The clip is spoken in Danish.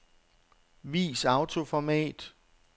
Vis autoformat.